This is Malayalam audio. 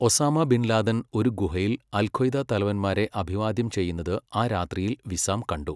ഒസാമ ബിൻ ലാദൻ ഒരു ഗുഹയിൽ അൽഖ്വയ്ദ തലവന്മാരെ അഭിവാദ്യം ചെയ്യുന്നത് ആ രാത്രിയിൽ വിസാം കണ്ടു.